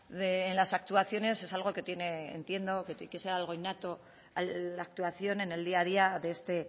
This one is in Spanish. en las actuaciones es algo que tiene entiendo que ser algo innato a la actuación en el día a día de este el